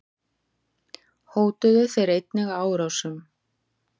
Hótuðu þeir einnig árásum.